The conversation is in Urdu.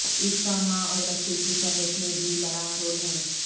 اس کا ماں اور بچے کی صحت میں بھی بڑا رول ہے